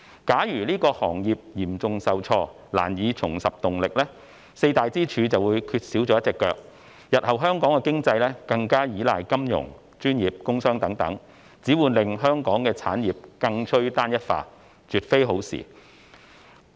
假如該行業嚴重受挫，難以重拾動力，四大支柱便會缺少了一隻腳，日後香港的經濟更依賴金融業及專業工商等，只會令香港的產業更趨單一化，絕非好事。